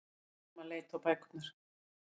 Mamman leit á bækurnar.